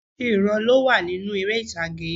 Orísìírísìí ìran ló wà nínú erè ìtàgé